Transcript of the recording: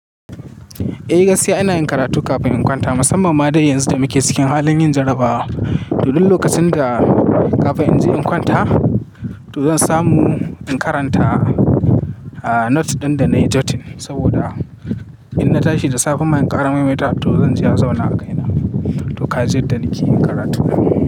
Eh gaskiya ana yin karatu kafin in kwanta, musamman ma da yanzu da muke cikin halin yin jarabawa. To duk lokacin da kafin in je in kwanta, to zan samu in karanta notes ɗin da na yi jotting, saboda in na tashi da safan mai karami mai ta, to zan ji an zauna a kaina. To ka je da ni ki in karatuna.